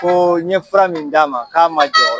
Ko n ye fura min d'a ma k'a ma jɔ